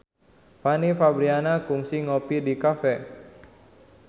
Fanny Fabriana kungsi ngopi di cafe